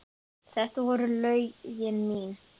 Þetta voru lögin mín.